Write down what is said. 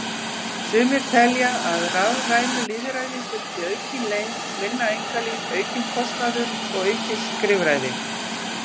Sumir telja að rafrænu lýðræði fylgi aukin leynd, minna einkalíf, aukinn kostnaður og aukið skrifræði.